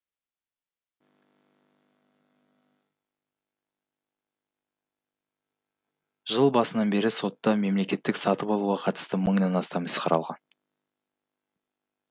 жыл басынан бері сотта мемлекеттік сатып алуға қатысты мыңнан астам іс қаралған